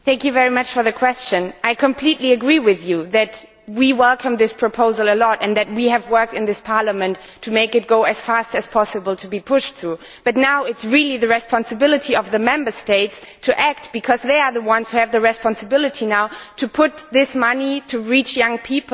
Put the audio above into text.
I completely agree with you that we welcome this proposal a lot and that we have worked in this Parliament to push it through as fast as possible, but now it is really the responsibility of the Member States to act, because they are the ones who have the responsibility to put this money towards young people and make